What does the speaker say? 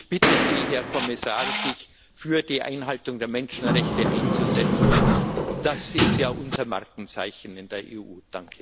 Ich bitte Sie, Herr Kommissar, sich für die Einhaltung der Menschenrechte einzusetzen das ist ja unser Markenzeichen in der EU.